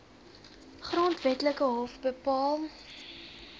grondwetlike hof bepaal